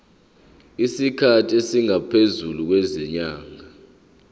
isikhathi esingaphezulu kwezinyanga